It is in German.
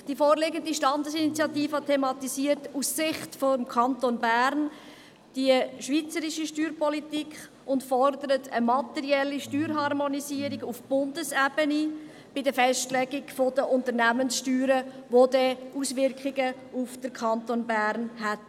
Die vorliegende Standesinitiative thematisiert aus Sicht des Kantons Bern die schweizerische Steuerpolitik und fordert eine materielle Steuerharmonisierung auf Bundesebene bei der Festlegung der Unternehmenssteuern, welche dann Auswirkungen auf den Kanton Bern hätten.